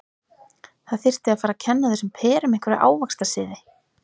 Það þyrfti að fara að kenna þessum perum einhverja ávaxtasiði.